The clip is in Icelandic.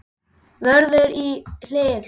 Vörður í hliðið.